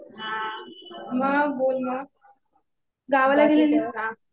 हा मग बोल मग. गावाला गेलेलीस का?